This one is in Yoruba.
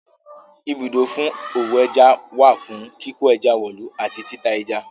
Ibùdó fún òwò ẹja wà fún kíkó ẹja wọ̀lú àti tita ẹja.